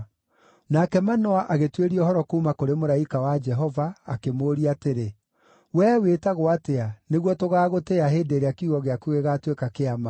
Nake Manoa agĩtuĩria ũhoro kuuma kũrĩ mũraika wa Jehova akĩmũũria atĩrĩ, “Wee wĩtagwo atĩa, nĩguo tũgaagũtĩĩa hĩndĩ ĩrĩa kiugo gĩaku gĩgaatuĩka kĩa ma?”